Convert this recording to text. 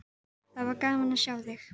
Það var gaman að sjá þig.